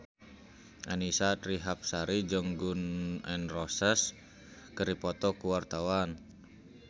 Annisa Trihapsari jeung Gun N Roses keur dipoto ku wartawan